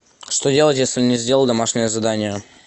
что делать если не сделал домашнее задание